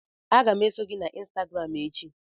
Aga m eso gị na ịnstagram echi